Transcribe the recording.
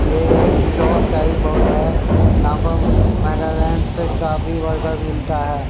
यह एक shop type by है यहां पर नागालैंड से काफी बर्गर मिलता है।